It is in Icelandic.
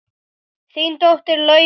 Þín dóttir, Laufey Katrín.